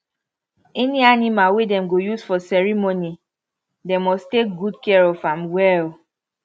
any animal wey dem go use for ceremony dem must take good care of am well